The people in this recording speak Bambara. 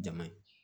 Jama ye